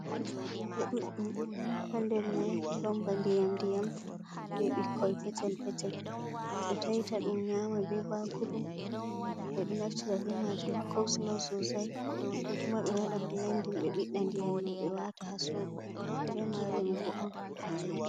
Cikilje ɗuɗɗum ha nder mai ɗon ba ndiyam ndiyam be ɓikkoi petel petel, ɓeɗo taita ɗum nyama be bakru, ɓeɗo naftira bo be majum ha kosulo susai, ko kuma ɓe waɗa blandin ɓe biɗda ndiyam mai ɓe wata ha sobo, mido rema remugo on.